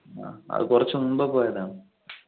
ആ അത് കുറച്ചു മുൻപേ പോയതാ.